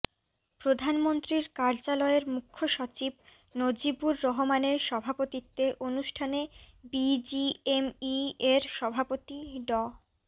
প্রধানমন্ত্রীর কার্যালয়ের মুখ্য সচিব নজিবুর রহমানের সভাপতিত্বে অনুষ্ঠানে বিজিএমইএর সভাপতি ড